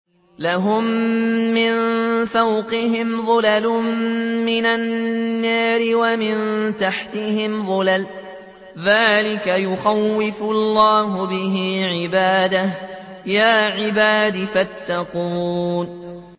لَهُم مِّن فَوْقِهِمْ ظُلَلٌ مِّنَ النَّارِ وَمِن تَحْتِهِمْ ظُلَلٌ ۚ ذَٰلِكَ يُخَوِّفُ اللَّهُ بِهِ عِبَادَهُ ۚ يَا عِبَادِ فَاتَّقُونِ